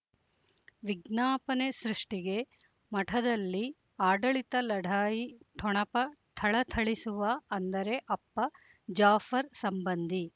ವಿಜ್ಞಾಪನೆ ಸೃಷ್ಟಿಗೆ ಮಠದಲ್ಲಿ ಆಡಳಿತ ಲಢಾಯಿ ಠೊಣಪ ಥಳಥಳಿಸುವ ಅಂದರೆ ಅಪ್ಪ ಜಾಫರ್ ಸಂಬಂಧಿ